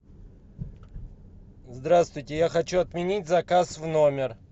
здравствуйте я хочу отменить заказ в номер